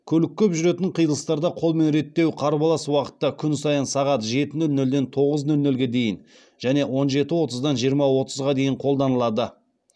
көлік көп жүретін қиылыстарда қолмен реттеу қарбалас уақытта күн сайын сағат жеті нөл нөлден тоғыз нөл нөлге дейін және он жеті отыздан жиырма отызға дейін қолданылады